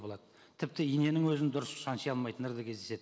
болады тіпті иненің өзін дұрыс шанши алмайтындар да кездеседі